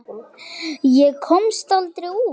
Ég komst aldrei út.